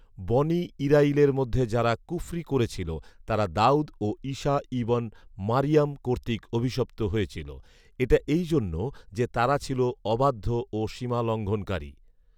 বনী ইরাঈলের মধ্যে যারা কুফরী করেছিল, তারা দাঊদ ও ঈসা ইবন মারইয়াম কর্তৃক অভিশপ্ত হয়েছিল, এটা এই জন্য যে, তারা ছিল অবাধ্য ও সীমালংঘনকারী